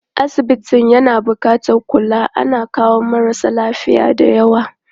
Asibitin na buƙatar kula, ana kawo marasa lafiya dayawa.